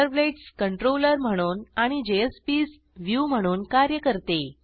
servlets controller म्हणून आणि JSPs view म्हणून कार्य करते